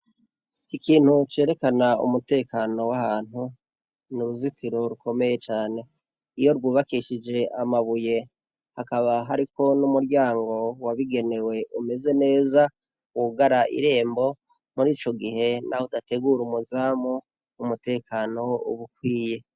Ikintu cerekana umutekano w'ahantu, ni uruzitiro rikomeye cane. Iyo rwubakishije amabuye, hakaba hariko n'umuryango wabigenewe umeze neza wugara irembo, muri ico gihe naho naho udategura umuzamu, umutekano wama ukwiye.